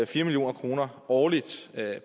fire million kroner årligt